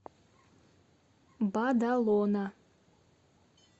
бадалона